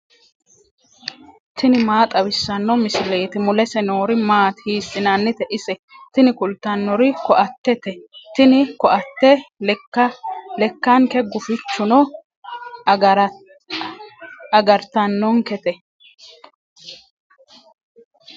tini maa xawissanno misileeti ? mulese noori maati ? hiissinannite ise ? tini kultannori ko"attete. tini ko"atte lekkanke gufichunni agartannonkete.